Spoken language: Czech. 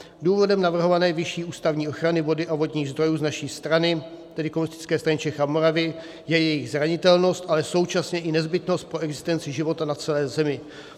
Důvodem navrhované vyšší ústavní ochrany vody a vodních zdrojů z naší strany, tedy Komunistické strany Čech a Moravy, je jejich zranitelnost, ale současně i nezbytnost pro existenci života na celé Zemi.